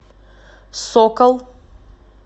сокол